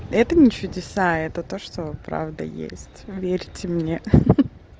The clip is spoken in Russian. это не чудеса это то что правда есть верьте мне ха-ха